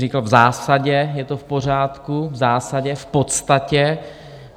Říkal: v zásadě je to v pořádku, v zásadě, v podstatě.